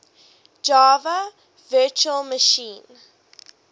java virtual machine